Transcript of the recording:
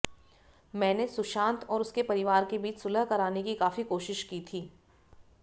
मैंने सुशांत और उसके परिवार के बीच सुलह कराने की काफी कोशिश की थी